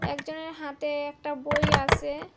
একজনের হাতে একটা বই আসে।